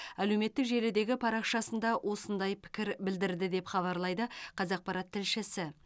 әлеуметтік желідегі парақшасында осындай пікір білдірді деп хабарлайды қазақпарат тілшісі